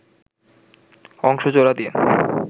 অংশ জোড়া দিয়ে